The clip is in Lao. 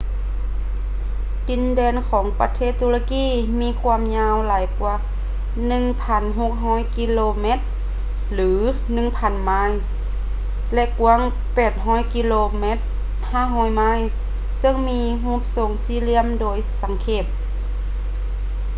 ດິນແດນຂອງປະເທດຕຸລະກີມີຄວາມຍາວຫຼາຍກ່ວາ 1,600 ກິໂລແມັດ 1,000 ໄມລ໌ ແລະ ກວ້າງ 800 ກິໂລແມັດ 500 ໄມລ໌ ເຊິ່ງມີຮູບຊົງສີ່ຫລ່ຽມໂດຍສັງເຂບ